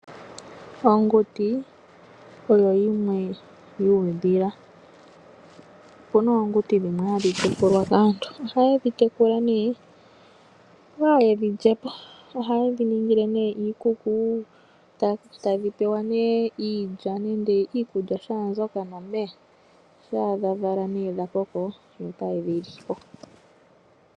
Onguti oyo yimwe yuudhila. Opuna oonguti dhimwe hadhi tekulwa kaantu, ohayedhi tekula yi yedhi lyepo ohayedhi ningile iikuku tadhi pewa iilya nenge iikulya shambyoka nomeya shampa dha vala nee dhakoko yo otaye dhi li po.